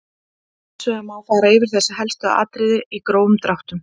Hins vegar má fara yfir þessi helstu atriði í grófum dráttum.